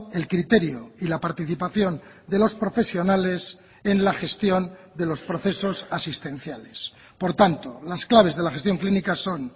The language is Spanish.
el criterio y la participación de los profesionales en la gestión de los procesos asistenciales por tanto las claves de la gestión clínica son